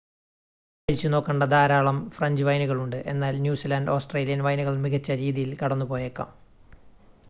കഴിച്ചുനോക്കേണ്ട ധാരാളം ഫ്രഞ്ച് വൈനുകൾ ഉണ്ട് എന്നാൽ ന്യൂസിലാൻഡ് ഓസ്‌ട്രേലിയൻ വൈനുകൾ മികച്ച രീതിയിൽ കടന്നുപോയേക്കാം